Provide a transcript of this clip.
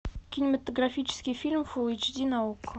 кинематографический фильм фулл эйч ди на окко